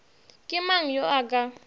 ke mang yo a ka